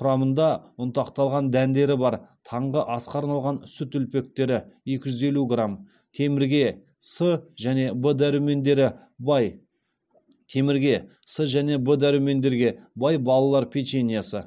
құрамында ұнтақталған дәндері бар таңғы асқа арналған сүт үлпектері екі жүз елу грамм темірге с және в дәрумендері бай темірге с және в дәрумендерге бай балалар печеньесі